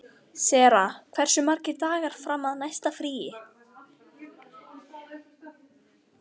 Sera, hversu margir dagar fram að næsta fríi?